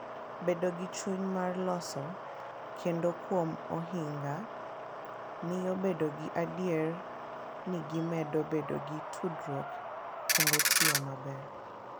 Bedo gi chuny mar loso kendo kuom ohinga miyo bedo gi adier ni gimedo bedo gi tudruok kendo tiyo maber.